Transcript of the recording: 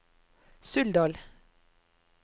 Suldal